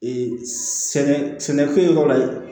sɛnɛkɛ fɛn yɔrɔ la ye